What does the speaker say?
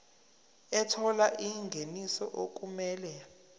ethola ingeniso okumele